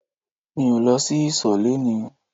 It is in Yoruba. Mi ò lọ sí ìsò léni